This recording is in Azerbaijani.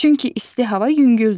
Çünki isti hava yüngüldür.